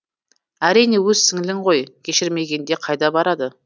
әрине өз сіңілің ғой кешірмегенде қайда барады